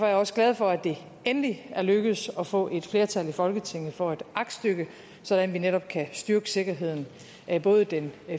jeg også glad for at det endelig er lykkedes at få et flertal i folketinget for et aktstykke sådan at vi netop kan styrke sikkerheden både den